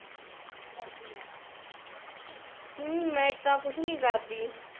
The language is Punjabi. ਕਿ ਕਰਦੀ ਹੈ ਮੈਂ ਤਾ ਕੁਝ ਨੀ ਕਰਦੀ